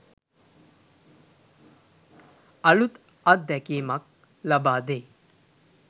අලූත් අත්දැකීමක් ලබාදෙයි.